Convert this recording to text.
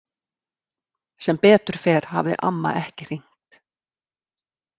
Sem betur fer hafði amma ekki hringt.